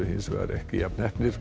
hins vegar ekki jafn heppnir